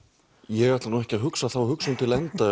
ég ætla nú ekki að hugsa þá hugsun til enda